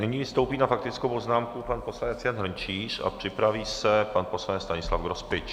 Nyní vystoupí na faktickou poznámku pan poslanec Jan Hrnčíř a připraví se pan poslanec Stanislav Grospič.